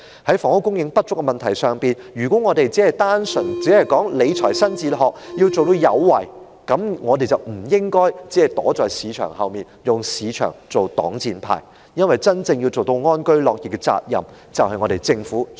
在房屋供應不足的問題上，如果政府強調理財新哲學、要做到有為，便不應該只躲在市場後，用市場作"擋箭牌"，因為要令市民真正安居樂業，是政府必須肩負的責任。